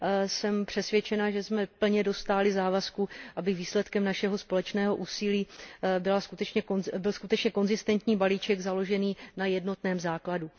Jsem přesvědčena, že jsme plně dostáli závazku, aby výsledkem našeho společného úsilí byl skutečně konzistentní balíček založený na jednotném základu.